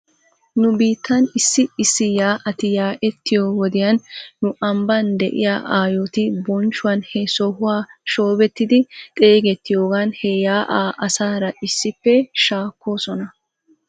Nu biittan issi issi yaa'ati yaa'ettiyoo wodiyan nu ambban de'iyaa aayoti bonchchuwan he sohuwa shoobettidi xaagattiyoogan he yaa'aa asaara issippe shaakoosona.